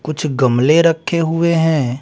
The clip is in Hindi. कुछ गमले रखे हुए हैं।